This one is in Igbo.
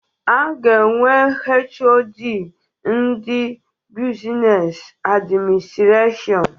A ga-enwe HoD ndị Buzines Administrashọn.